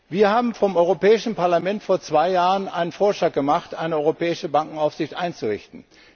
Wir vom Europäischen Parlament haben vor zwei Jahren einen Vorschlag gemacht, eine europäische Bankenaufsicht einzurichten.